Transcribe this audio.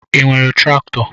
I nwere traktọ?